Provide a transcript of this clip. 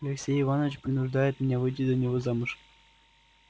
алексей иванович принуждает меня выйти за него замуж